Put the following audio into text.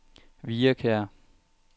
Hvirrekær